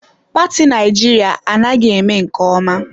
Paati Naịjirịa anaghị eme nke ọma.